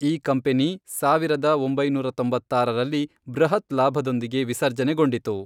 ಈ ಕಂಪನಿ ಸಾವಿರದ ಒಂಬೈನೂರ ತೊಂಬತ್ತಾರರಲ್ಲಿ ಬೃಹತ್ ಲಾಭದೊಂದಿಗೆ ವಿಸರ್ಜನೆಗೊಂಡಿತು.